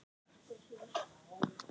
Gerður klæddi sig.